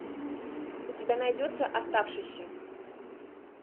у тебя найдется оставшийся